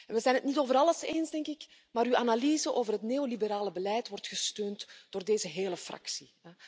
We zijn het niet over alles eens, maar uw analyse over het neoliberale beleid wordt gesteund door deze hele fractie.